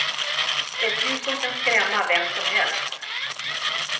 Ett ljus som kan skrämma vem som helst.